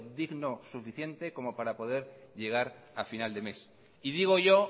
digno suficiente como para poder llegar a final de mes y digo yo